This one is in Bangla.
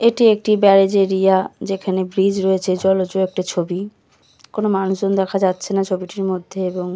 এটি একটি ব্যারাজে এরিয়া যেখানে ব্রিজ রয়েছে জলজ একটা ছবি কোন মানুষজন দেখা যাচ্ছে না ছবিটির মধ্যে এবং --